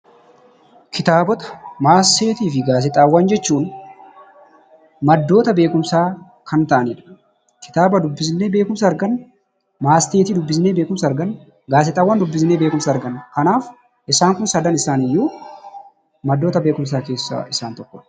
Kitaabotaa, matseetiifi gaazexxaawwan jechuun; maddoota beekumsa Kan ta'anidha. Kitaaba dubbisne beekumsa argaanna, matseetii dubbisne beekumsa argaanna, gaazexxaawwan dubbisne beekumsa argaanna. Kanaaf isaan kun sadan isaaniyyuu maddoota beekumsa keessa isaan tokkodha.